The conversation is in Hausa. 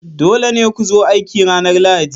Dole ne ku zo aiki ranar Lahadi!